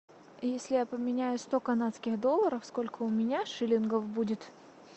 если я поменяю сто канадских долларов сколько у меня шиллингов будет